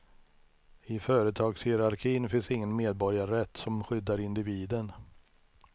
I företagshierarkin finns ingen medborgarrätt som skyddar individen.